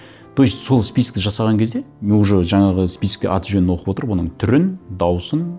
то есть сол список жасаған кезде мен уже жаңағы списокке аты жөнін оқып отырып оның түрін дауысын